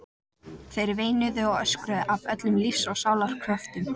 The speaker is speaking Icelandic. Þær veinuðu og öskruðu af öllum lífs og sálar kröftum.